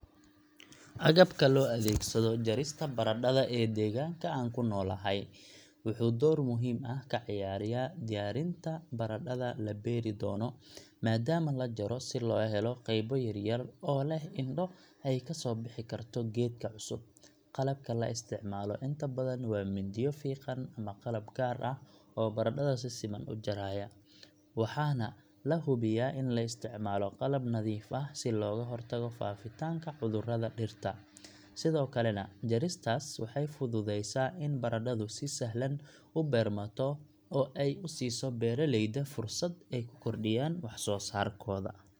Agabka loo adeegsado jarista baradhada ee deegaanka aan ku noolahay wuxuu door muhiim ah ka ciyaaraa diyaarinta baradhada la beeri doono, maadaama la jaro si loo helo qaybo yar yar oo leh indho ay ka soo bixi karto geedka cusub; qalabka la isticmaalo inta badan waa mindiyo fiiqan ama qalab gaar ah oo baradhada si siman u jaraya, waxaana la hubiyaa in la isticmaalo qalab nadiif ah si looga hortago faafitaanka cudurrada dhirta, sidoo kalena jaristaas waxay fududeysaa in baradhadu si sahlan u beermato oo ay u siiso beeraleyda fursad ay ku kordhiyaan wax-soosaarkooda.